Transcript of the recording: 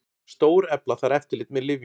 Stórefla þarf eftirlit með lyfjum